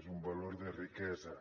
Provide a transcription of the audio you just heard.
és un valor de riquesa